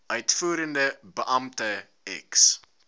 uitvoerende beampte ex